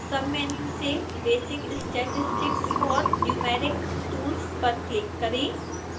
submenu से basic statistics for numeric tools पर click करें